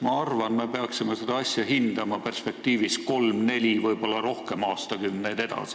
Ma arvan, et me peaksime seda asja hindama perspektiivis kolm- või nelikümmend aastat, võib-olla rohkemgi aastakümneid edasi.